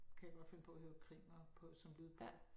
Kan jeg godt finde på at høre krimier på som lydbog